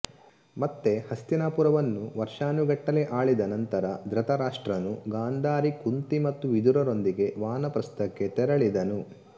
ಮತ್ತೆ ಹಸ್ತಿನಾಪುರವನ್ನು ವರ್ಷಾನುಗಟ್ಟಲೆ ಆಳಿದ ನಂತರ ಧೃತರಾಷ್ಟ್ರನು ಗಾಂಧಾರಿ ಕುಂತಿ ಮತ್ತು ವಿದುರರೊಂದಿಗೆ ವಾನಪ್ರಸ್ಥಕ್ಕೆ ತೆರಳಿದನು